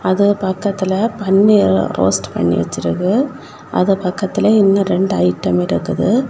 அது பக்கத்துல பன்னீர் ரோஸ்ட் பண்ணி வச்சிருக்கு அது பக்கத்துல இன்னும் ரெண்டு ஐட்டம் இருக்குது.